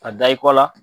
A da i kɔ la